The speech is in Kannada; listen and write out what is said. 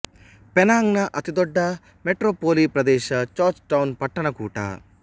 ಪೆನಾಂಗ ನ ಅತಿದೊಡ್ಡ ಮೆಟ್ರೊಪೊಲಿ ಪ್ರದೇಶಜಾರ್ಜ್ ಟೌನ್ ಪಟ್ಟಣ ಕೂಟ